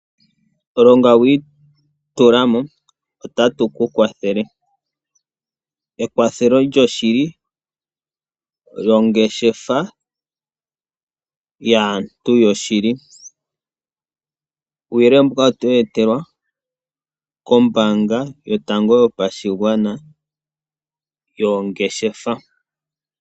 Longa wiitula mo otatu ku kwathele ekwathelo lyoshili lyongeshefa yaantu yoshili ,uuyelele mbuka oto wu etelwa kombaanga yotango yopashigwana yongeshefa.